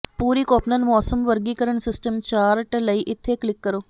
ਪੂਰੀ Koppen ਮੌਸਮ ਵਰਗੀਕਰਣ system chart ਲਈ ਇੱਥੇ ਕਲਿੱਕ ਕਰੋ